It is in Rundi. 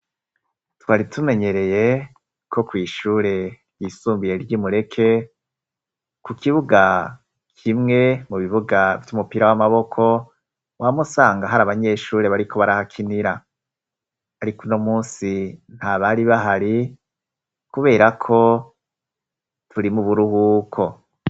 twari tumenyereye ko kw,ishure dy'isumbuye ry'imureke ku kibuga kimwe mu bibuga vy'umupira w'amaboko wamusanga hari abanyeshure bari ko barahakinira ariko uno munsi ntabari bahari kubera ko bari mu buruhuko